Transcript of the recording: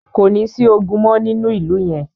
Kò ní sí ogun mọ́ nínú ìlú yẹn.